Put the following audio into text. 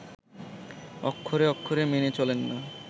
অক্ষরে অক্ষরে মেনে চলেন না